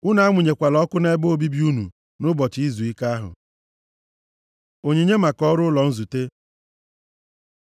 Unu amụnyela ọkụ nʼebe obibi unu nʼụbọchị izuike ahụ.” Onyinye maka ọrụ ụlọ nzute